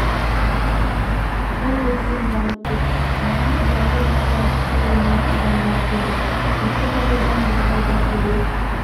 сол өрттен жанып кетті маған ұялы байланыс салонынан адамдар келді осы жағдайдан бір пайда көре